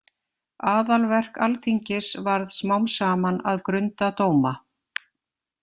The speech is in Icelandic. Aðalverk Alþingis varð smám saman að grunda dóma.